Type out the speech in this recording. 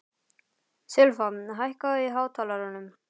Silfa, hækkaðu í hátalaranum.